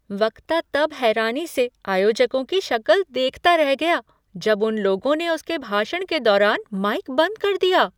वक्ता तब हैरानी से आयोजकों की शक्ल देखता रह गया जब उन लोगों ने उसके भाषण के दौरान माइक बंद कर दिया।